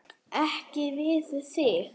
Ekki við þig.